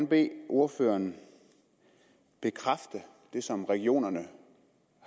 bede ordføreren bekræfte det som regionerne